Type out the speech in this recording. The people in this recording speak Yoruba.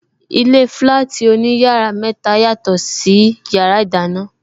Ilé flati oní yàrá mẹta, yàtò sí yàrá ìdáná.